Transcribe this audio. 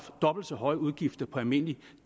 dobbelt så høje udgifter på almindelig